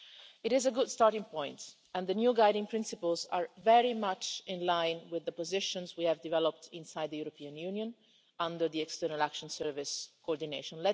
It is a good starting point, and the new guiding principles are very much in line with the positions we have developed inside the European Union under European External Action Service coordination.